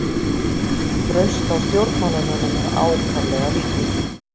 Traust á stjórnmálamönnum er ákaflega lítið